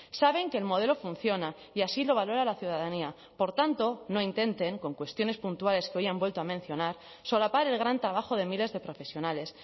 saben que el modelo funciona y así lo valora la ciudadanía por tanto no intenten con cuestiones puntuales que hoy han vuelto a mencionar solapar el gran trabajo de miles de profesionales